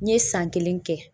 N ye san kelen kɛ